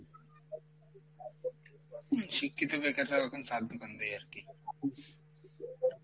শিক্ষিত বেকাররা এখন চার দোকান দেই আরকি,